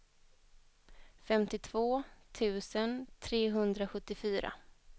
femtiotvå tusen trehundrasjuttiofyra